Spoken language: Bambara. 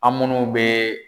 An munnu bɛ